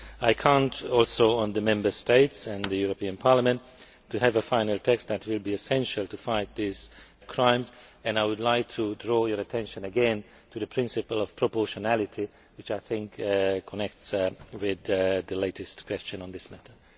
I count also on the Member States and the European Parliament to have a final text that will be essential to fight these crimes and I would like to draw your attention again to the principle of proportionality, which I think connects with the latest question on this matter.